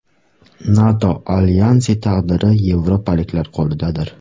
NATO alyansi taqdiri yevropaliklar qo‘lidadir.